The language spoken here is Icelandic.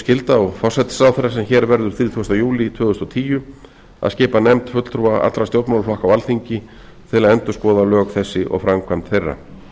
skylda á forsætisráðherra sem hér verður þrítugasta júlí tvö þúsund og tíu að skipa nefnd fulltrúa allra stjórnmálaflokka á alþingi til að endurskoða lög þessi og framkvæmd þeirra